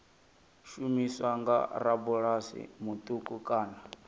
shumiswa nga rabulasi muṱuku kana